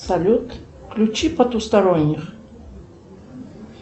салют включи потусторонних